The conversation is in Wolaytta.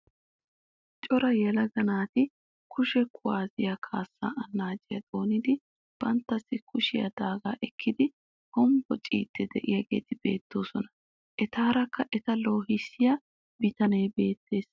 Cora yelaga naati kushe kuwaasiyaa kaassaa annaciyaa xoonidi banttassi koshiyaa daagaa ekkidi hombbociidi de'iyaageti beettoosona. etaarakka eta loohissiyaa bitanee beettees.